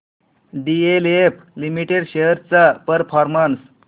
DLF limited shares चा performance